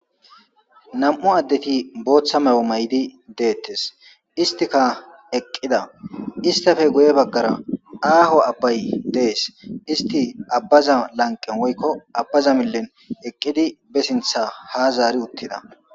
Na'mu adeti botha Mayo ma'di detes isitika eqida isitipe guye bagara aho abay de'es isiti abaza laniqen woyiko abaza milen eqidi besintha hazari utida